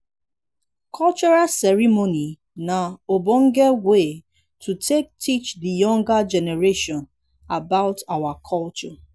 cultural ceremony na ognonge wey to take teach di younger generation about our culture